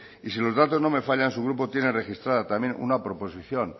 y si los datos no me fallan su grupo tiene registrada también una proposición